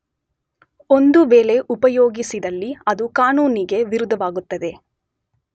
ಒಂದು ವೇಳೆ ಉಪಯೋಗಿಸಿದಲ್ಲಿ ಅದು ಕಾನೂನಿಗೆ ವಿರುದ್ಧವಾಗುತ್ತದೆ.